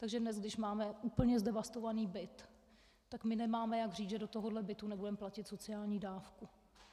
Takže dnes, když máme úplně zdevastovaný byt, tak my nemáme jak říct, že do tohohle bytu nebudeme platit sociální dávku.